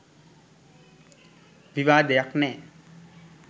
විවාදයක් නෑ.